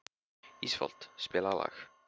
Ísfold, spilaðu lag.